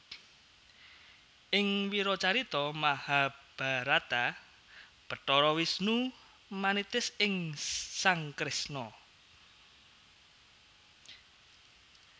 Ing wiracarita Mahabharata Bathara Wisnu manitis ing sang Kresna